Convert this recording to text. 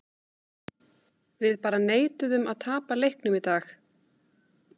Við bara neituðum að tapa leiknum í dag.